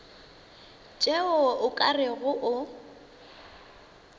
tšeo o ka rego o